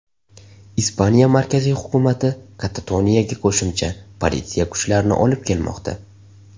Ispaniya markaziy hukumati Katatoniyaga qo‘shimcha politsiya kuchlarini olib kelmoqda.